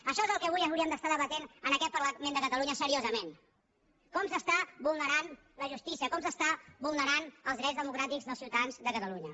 això és el que avui hauríem d’estar debatent en aquest parlament de catalunya seriosament com s’està vulnerant la justícia com s’està vulnerant els drets democràtics dels ciutadans de catalunya